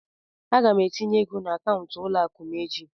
Aga m etinye ego n'akaụntụ ụlọ akụ m echi.